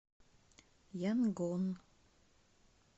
янгон